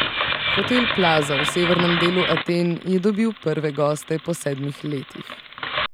Hotel Plaza v severnem delu Aten je dobil prve goste po sedmih letih.